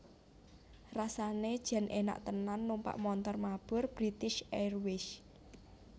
Rasane jan enak tenan numpak montor mabur British Airways